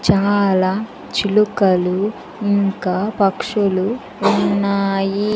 చాలా చిలుకలు ఇంకా పక్షులు ఉన్నాయి.